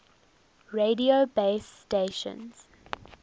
radio base stations